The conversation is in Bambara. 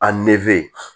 A nege